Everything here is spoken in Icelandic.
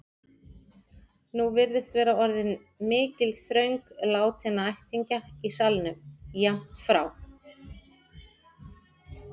Nú virðist vera orðin mikil þröng látinna ættingja í salnum, jafnt frá